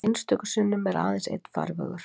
Einstöku sinnum er aðeins einn farvegur.